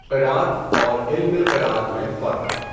قراءت اور علمِ قراءت میں فرق